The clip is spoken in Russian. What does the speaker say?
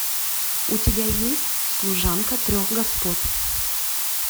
у тебя есть служанка трех господ